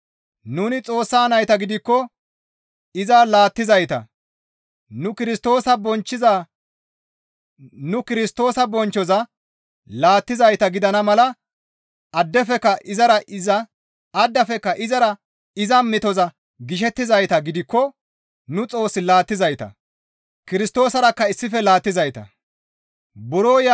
Nuni Xoossa nayta gidikko iza laattizayta. Nu Kirstoosa bonchchoza laattizayta gidana mala addafekka izara iza metoza gishettizayta gidikko nu Xoos laattizayta; Kirstoosarakka issife laattizayta.